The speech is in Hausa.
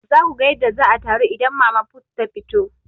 Za ku ga yadda za a taru idan mama put ta fito.